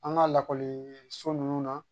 An ka lakɔliso ninnu na